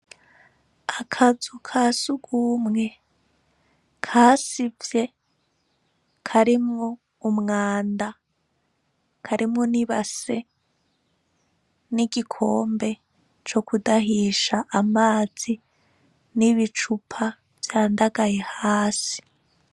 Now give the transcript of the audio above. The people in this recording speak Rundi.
Akazu ka sugumwe kasivye karimwo umwanda, karimwo n'ibase n'igikombe co kudahisha amazi n'ibicupa vyandagaye hasi.